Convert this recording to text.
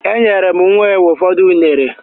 Enyere m nwa enwe ụfọdụ unere